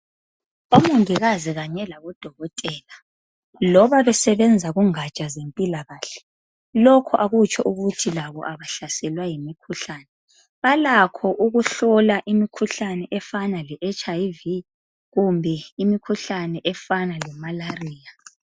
Omongikazi kanye labodokotela loba besebenza kungatsha zempilakahle lokhu akutsho ukuthi labo abahlaselwa ngimikhuhlane balakho ukuhlola imikhuhlane efana leHIV kumbe imikhuhlane efana lemalariya.